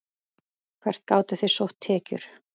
Hvert gátuð þið sótt tekjur?